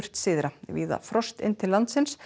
syðra víða frost inn til landsins